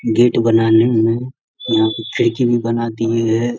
Gate बनाने में यहाँ पे खिड़की भी बना दिए हैं।